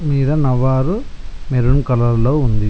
భూమి మీద నవారు మెరూన్ కలర్ లో ఉంది.